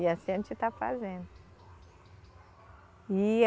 E assim a gente está fazendo. E